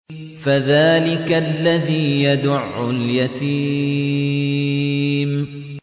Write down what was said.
فَذَٰلِكَ الَّذِي يَدُعُّ الْيَتِيمَ